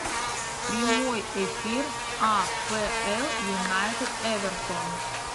прямой эфир апл юнайтед эвертон